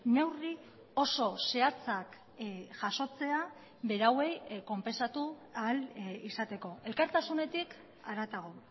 neurri oso zehatzak jasotzea berauei konpentsatu ahal izateko elkartasunetik haratago